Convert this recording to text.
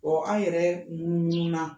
an yɛrɛ munnu munnu na.